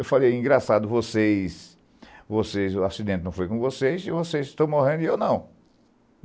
Eu falei, engraçado, vocês, vocês o acidente não foi com vocês, vocês estão morrendo e eu não.